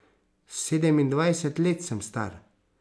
Sedemindvajset let sem star.